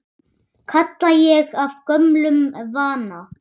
kalla ég af gömlum vana.